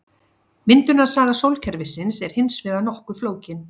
Myndunarsaga sólkerfisins er hins vegar nokkuð flókin.